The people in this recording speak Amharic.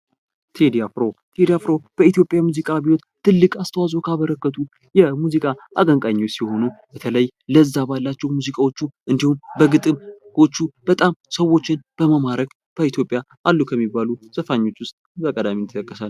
ቴዲ አፍሮ:- ቴዲ አፍሮ በኢትዮጵያ የሙዚቃ አብዮት ትልቅ አስተዋፅዖ ካበረከቱ የሙዚቄ አቀንቃኞች ሲሆኑ በተለይ ለዛ ባላቸዉ ሙዚቃዎቹ በግጥሞቹ በጣም በመማረክ በኢትዮጵያ አሉ ከሚባሉ ዘፋኞች ዉስጥ በቀዳሚነት ይጠቀሳል።